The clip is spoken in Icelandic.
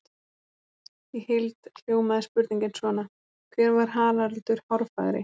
Í heild hljómaði spurningin svona: Hver var Haraldur hárfagri?